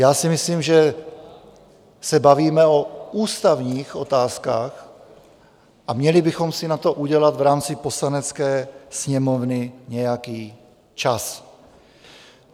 Já si myslím, že se bavíme o ústavních otázkách, a měli bychom si na to udělat v rámci Poslanecké sněmovny nějaký čas.